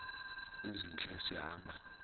ezintle esi hamba